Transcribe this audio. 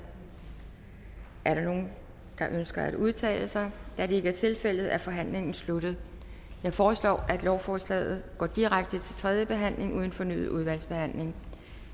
er der nogen der ønsker at udtale sig da det ikke er tilfældet er forhandlingen sluttet jeg foreslår at lovforslaget går direkte til tredje behandling uden fornyet udvalgsbehandling